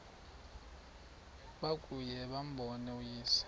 babuye bambone uyise